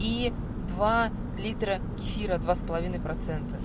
и два литра кефира два с половиной процента